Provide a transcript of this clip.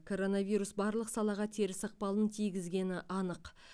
коронавирус барлық салаға теріс ықпалын тигізгені анық